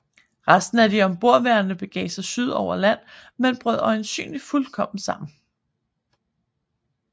Resten af de ombordværende begav sig syd på over land men brød øjensynligt fuldkommen sammen